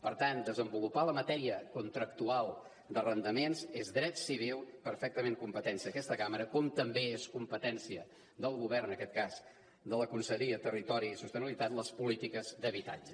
per tant desenvolupar la matèria contractual d’arrendaments és dret civil perfectament competència d’aquesta cambra com també són competència del govern en aquest cas de la conselleria de territori i sostenibilitat les polítiques d’habitatge